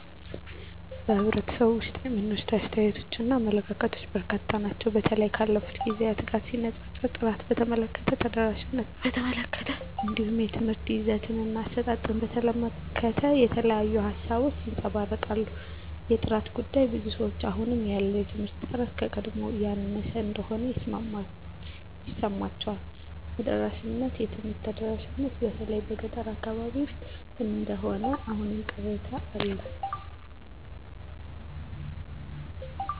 በኅብረተሰቡ ውስጥ የሚነሱ አስተያየቶችና አመለካከቶች በርካታ ናቸው። በተለይም ካለፉት ጊዜያት ጋር ሲነጻጸር፣ ጥራትን በተመለከተ፣ ተደራሽነትን በተመለከተ፣ እንዲሁም የትምህርት ይዘትና አሰጣጥን በተመለከተ የተለያዩ ሃሳቦች ይንጸባረቃሉ። የጥራት ጉዳይ -ብዙዎች አሁን ያለው የትምህርት ጥራት ከቀድሞው ያነሰ እንደሆነ ይሰማቸዋል። ተደራሽነት -የትምህርት ተደራሽነት በተለይ በገጠር አካባቢዎች ውስን እንደሆነ አሁንም ቅሬታ አለ